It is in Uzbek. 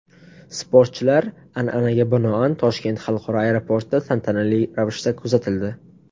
Sportchilar, an’anaga binoan, Toshkent xalqaro aeroportida tantanali ravishda kuzatildi.